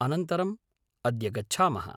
अनन्तरं अद्य गच्छामः।